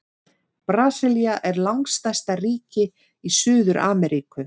Brasilía er langstærsta ríki í Suður-Ameríku.